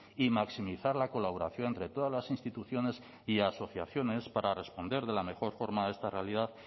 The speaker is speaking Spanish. y maximizar la colaboración entre todas las instituciones y asociaciones para responder de la mejor forma a esta realidad